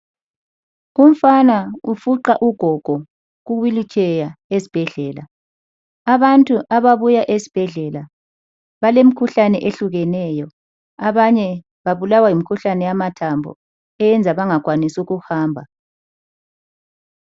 Umfana ufuqa ugogo kuwheel chair esibhedlela , abantu ababuya esibhedlela balemkhuhlane ehlukeneyo, abanye babulawa yimikhuhlane yamathambo eyenza bangakwanisi ukuhamba.